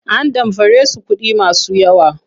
An damfare su kuɗi masu yawa.